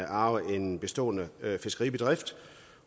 arve en bestående fiskeribedrift